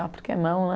ah porque não, né?